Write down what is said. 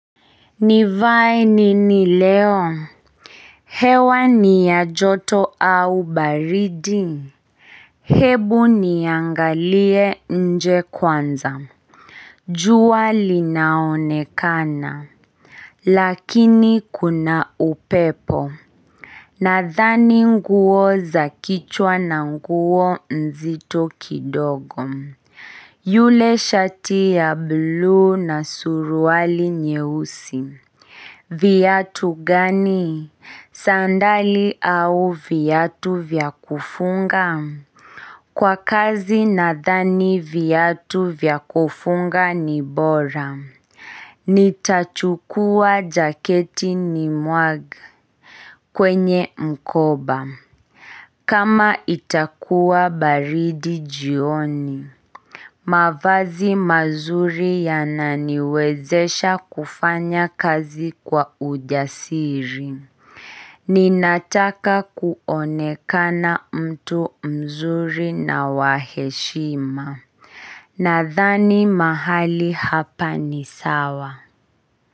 Ni viae nini leo? Hewa ni ya joto au baridi? Hebu niangalie nje kwanza. Jua linaonekana. Lakini kuna upepo. Nathani nguo zakichwa na nguo nzito kidogo. Yule shati ya blue na suruali nyeusi. Viatu gani? Sandali au viatu vyakufunga? Kwa kazi na thani viatu vyakufunga ni bora. Nitachukua jaketi ni mwag kwenye mkoba. Kama itakuwa baridi jioni. Mavazi mazuri ya naniwezesha kufanya kazi kwa ujasiri. Ninataka kuonekana mtu mzuri na waheshima Nadhani mahali hapa ni sawa.